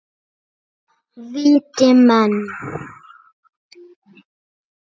Viti menn!